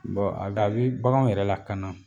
a g'a bi baganw yɛrɛ lakana.